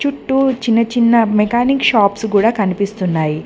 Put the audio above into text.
చూట్టూ చిన్న చిన్న mechanic shops గుడా కనిపిస్తున్నాయి.